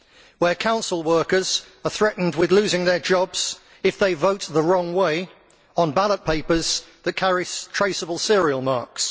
where council workers are threatened with losing their jobs if they vote the wrong way on ballot papers that carry traceable serial marks